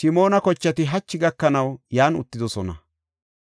Simoona kochati hachi gakanaw yan uttidosona.